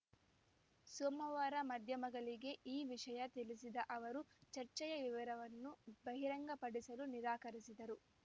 ಸೋಮವಾರ ಮಾಧ್ಯಮಗಳಿಗೆ ಈ ವಿಷಯ ತಿಳಿಸಿದ ಅವರು ಚರ್ಚೆಯ ವಿವರವನ್ನು ಬಹಿರಂಗಪಡಿಸಲು ನಿರಾಕರಿಸಿದರು